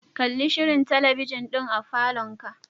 Kalli shirin talabijin din a falonka.